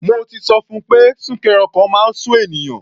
Mo ti sọ fun pé súnkẹrẹ ọkọ̀ máa ń sú ènìyàn.